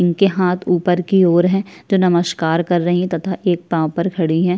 इनके हाथ ऊपर की ओर है तो नमस्कार कर रही है तथा एक पाँव पर खड़ी हैं।